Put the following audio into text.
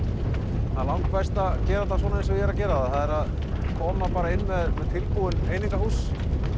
það er langbest að gera þetta svona eins og ég er að gera koma bara inn með tilbúin einingahús